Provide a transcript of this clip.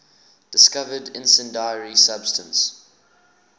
discovered incendiary substance